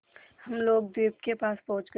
हम लोग द्वीप के पास पहुँच गए